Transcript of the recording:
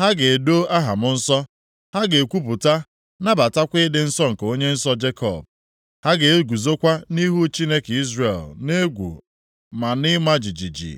ha ga-edo aha m nsọ, ha ga-ekwupụta, nabatakwa ịdị nsọ nke Onye nsọ Jekọb, ha ga-eguzokwa nʼihu Chineke Izrel nʼegwu na nʼịma jijiji.